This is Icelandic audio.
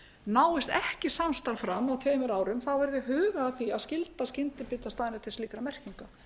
náist ekki samstarf fram á tveimur árum þá verði hugað að því að skylda skyndibitastaðina til slíkra merkinga